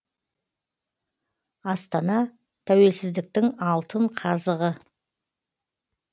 астана тәуелсіздіктің алтын қазығы